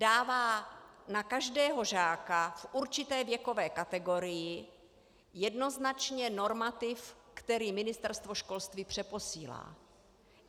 Dává na každého žáka v určité věkové kategorii jednoznačně normativ, který Ministerstvo školství přeposílá.